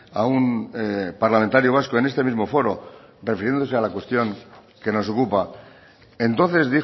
a un parlamentario vasco en este mismo foro refiriéndose a la cuestión que nos ocupa entonces